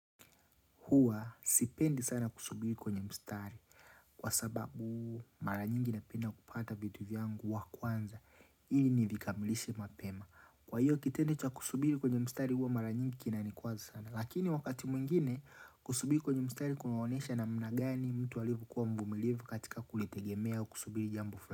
Hua sipendi sana kusubiri kwenye mstari Kwa sababu mara nyingi napenda kupata vitu vyangu wa kwanza ili nivikamilishe mapema Kwa hiyo kitendo cha kusubiri kwenye mstari hua mara nyingi kinanikwaza sana Lakini wakati mwingine kusubiri kwenye mstari kunaonesha namna gani mtu alivyo kuwa mvumilivu katika kulitegemea kusubiri jambo fla.